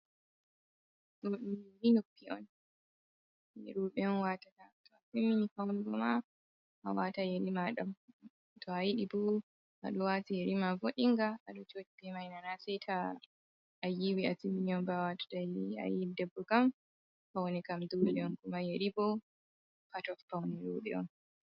Do dum yeri noppi on, rouɓe on watata to atimmini faunugo ni waata yeri mada to a yiide bo waata yeri ma vodinga adon jodi ma nana saita ayiwi a timmini on watata yeri ba ayi debbo kam faune kam dolé on ma yeri no feune rouɓe on.